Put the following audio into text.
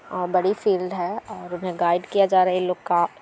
और बड़ी फील्ड है और इन्हे गाइड किया जा रहा है इन लोग का--